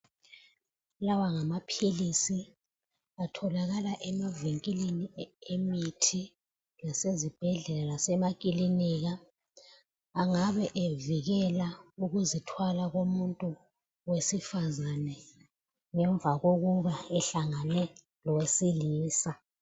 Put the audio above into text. Lawa ngamaphilisi atholakala emavinkilini emithi lasezibhedlela lasemakilinika. Angabe evikela ukuzithwala komuntu wesifazane ngemva kokuba ehlangane lowesilisa.